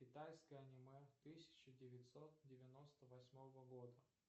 китайское аниме тысяча девятьсот девяносто восьмого года